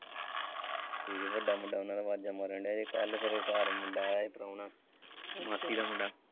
ਹਮ ਵੱਡਾ ਮੁੰਡਾ ਉਹਨਾਂ ਦਾ ਆਵਾਜਾਂ ਮਾਰਨ ਦਿਆ ਹੀ ਕੱਲ੍ਹ ਫਿਰ ਉਹ ਬਾਹਰ ਮੁੰਡਾ ਆਇਆ ਪ੍ਰਾਹੁਣਾ ਮਾਸੀ ਦਾ ਮੁੰਡਾ।